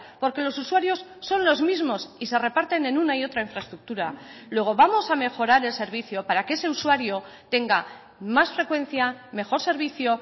porque los usuarios son los mismos y se reparten en una y otra infraestructura luego vamos a mejorar el servicio para que ese usuario tenga más frecuencia mejor servicio